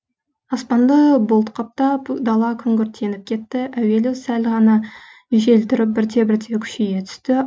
аспанды бұлт қаптап дала күңгірттеніп кетті әуелі сәл ғана жел тұрып бірте бірте күшейе түсті